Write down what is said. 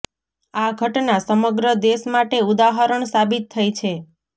આ ઘટના સમગ્ર દેશ માટે ઉદાહરણ સાબિત થઈ છે